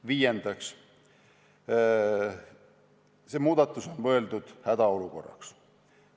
Viies muudatus on mõeldud hädaolukorraks.